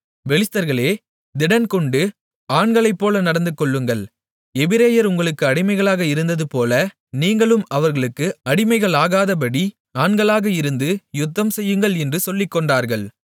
பெலிஸ்தர்களே திடன் கொண்டு ஆண்களைப்போல நடந்துகொள்ளுங்கள் எபிரெயர் உங்களுக்கு அடிமைகளாக இருந்ததுபோல நீங்களும் அவர்களுக்கு அடிமைகளாகாதபடி ஆண்களாக இருந்து யுத்தம்செய்யுங்கள் என்று சொல்லிக்கொண்டார்கள்